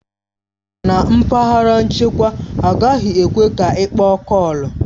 Na mpaghara nchekwa, agaghị ekwe ka ịkpọ kọọlu